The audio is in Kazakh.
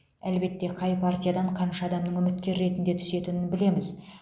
әлбетте қай партиядан қанша адамның үміткер ретінде түсетінін білеміз